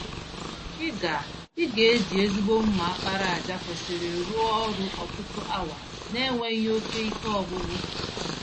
Ị ga Ị ga eji ezigbo mma àkpàràjà kwesịrị rụọ ọrụ ọtụtụ awa n'enweghị oke ike ọgwụgwụ.